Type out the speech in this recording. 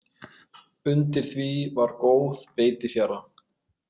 Undir því var góð beitifjara.